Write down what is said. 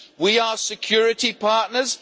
We are security partners.